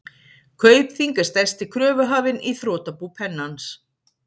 Kaupþing er stærsti kröfuhafinn í þrotabú Pennans.